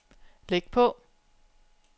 læg på